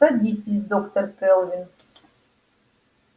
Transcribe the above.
садитесь доктор кэлвин